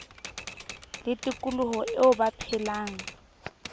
le tikoloho eo ba phelang